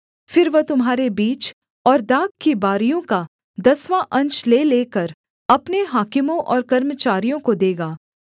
फिर वह तुम्हारे बीज और दाख की बारियों का दसवाँ अंश ले लेकर अपने हाकिमों और कर्मचारियों को देगा